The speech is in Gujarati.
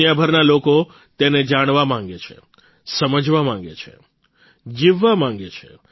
દુનિયાભરના લોકો તેને જાણવા માંગે છે સમજવા માંગે છે જીવવા માંગે છે